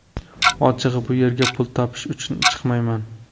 Ochig‘i, bu yerga pul topish uchun chiqmayman.